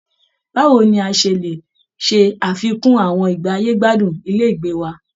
Báwo ni a ṣe lè ṣe àfikún àwọn ìgbáyé-gbádùn ilé ìgbé wa?